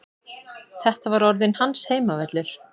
Þetta var orðinn hans heimavöllur.